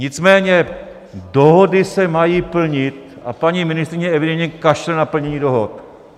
Nicméně dohody se mají plnit a paní ministryně evidentně kašle na plnění dohod.